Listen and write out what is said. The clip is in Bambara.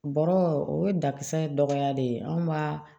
Bɔrɔ o ye dakisɛ dɔgɔya de ye anw b'a